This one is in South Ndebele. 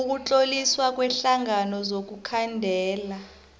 ukutloliswa kweenhlangano zokukhandela